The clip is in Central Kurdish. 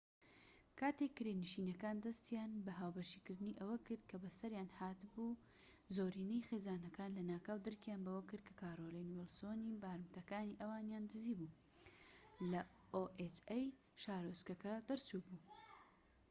کاتێک کرێنشینەکان دەستیان بە هاوبەشکردنی ئەوە کرد کە بە سەریان هات بوو زۆرینەی خێزانەکان لەناکاو درکیان بەوە کرد کە کارۆلین ویڵسۆنی oha بارمتەکانی ئەوانیان دزی بو لە شارۆچکەکە دەرچوو بوو